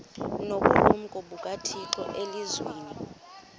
nobulumko bukathixo elizwini